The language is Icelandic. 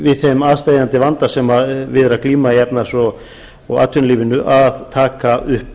við þeim aðsteðjandi vanda sem við er að glíma í efnahags og atvinnulífinu að taka upp